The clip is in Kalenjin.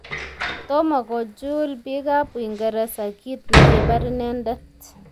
Tomo kojuul bikab uingereza kiit nekibar inendet